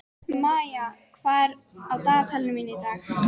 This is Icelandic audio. Maía, hvað er á dagatalinu mínu í dag?